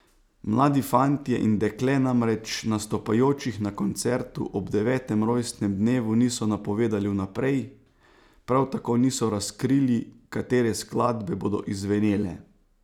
Mladi fantje in dekle namreč nastopajočih na koncertu ob devetem rojstnem dnevu niso napovedali vnaprej, prav tako niso razkrili, katere skladbe bodo izzvenele.